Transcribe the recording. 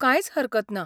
कांयच हरकत ना.